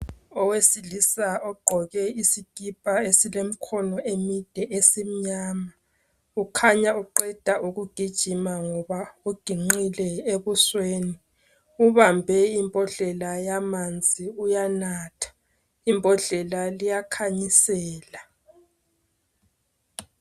Owesilisa ogqoke isikipa esilemkhono emide esimnyama. Ukhanya uqeda ukugijima uginqile ebusweni ubambe imbodlela yamanzi uyanatha. Imbodlela le iyakhanyisela